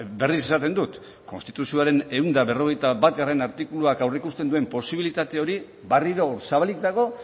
berriz esaten dut konstituzioaren ehun eta berrogeita batgarrena artikuluak aurreikusten duen posibilitate hori berriro zabalik dago